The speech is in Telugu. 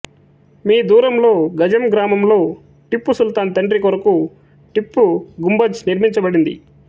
మీ దూరంలో గంజం గ్రామంలో టిప్పు సుల్తాన్ తండ్రి కొరకు టిప్పు గుంబజ్ నిర్మించబడింది